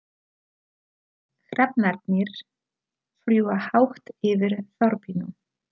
Hrafnarnir fljúga hátt yfir þorpinu.